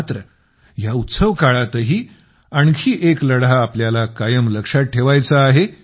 मात्र या उत्सवकाळातही आणखी एक लढा आपल्याला कायम लक्षात ठेवायचा आहे